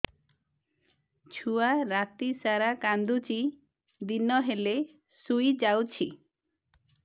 ଛୁଆ ରାତି ସାରା କାନ୍ଦୁଚି ଦିନ ହେଲେ ଶୁଇଯାଉଛି